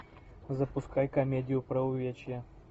запускай комедию про увечья